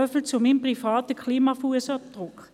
Soviel zu meinem privaten Klima-Fussabdruck.